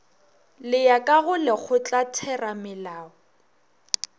le ya ka go lekgotlatheramelao